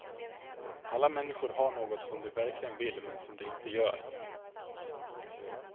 Alla människor har någonting som de verkligen vill men som de inte gör.